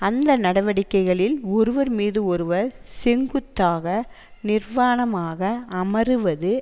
அந்த நடவடிக்கைகளில் ஒருவர் மீது ஒருவர் செங்குத்தாக நிர்வாணமாக அமருவது